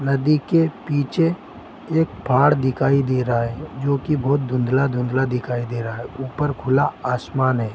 नदी के पीचे एक पाड़ दिखाई दे रहा है जो की बहुत धुंधला धुंदला दिखाई दे रहा है ऊपर खुला आसमान है।